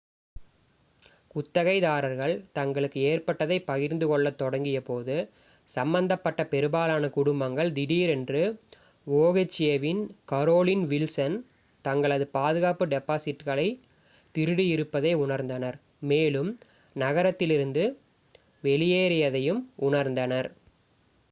குத்தகைதாரர்கள் தங்களுக்கு ஏற்பட்டதைப் பகிர்ந்துகொள்ளத் தொடங்கியபோது ​​சம்பந்தப்பட்ட பெரும்பாலான குடும்பங்கள் திடீரென்று oha-இன் கரோலின் வில்சன் தங்களது பாதுகாப்பு டெபாசிட்களைத் திருடியிருப்பதை உணர்ந்தனர் மேலும் நகரத்திலிருந்து வெளியேறியதையும் உணர்ந்தனர்